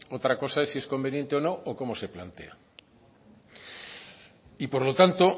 otra cosa es si es conveniente o no o cómo se plantea y por lo tanto